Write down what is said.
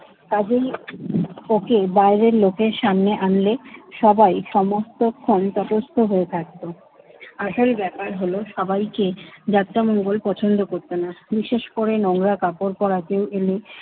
তার জন্যি ওকে বাইরের লোকের সামনে আনলে সবাই সমস্তক্ষণ তটস্থ হয়ে থাকতো। আসল ব্যাপার হলো সবাইকে যাত্রামঙ্গল পছন্দ করত না। বিশেষ করে নোংরা কাপড় পড়া কেউ এলে